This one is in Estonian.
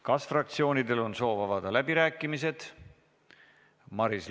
Kas fraktsioonidel on soov avada läbirääkimised?